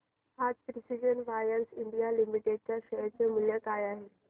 आज precision wires India limited च्या share चे मूल्य काय आहे